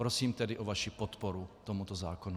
Prosím tedy o vaši podporu tomuto zákonu.